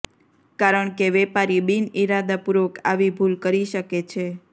કારણ કે વેપારી બિનઇરાદાપૂર્વક આવી ભૂલ કરી શકે છે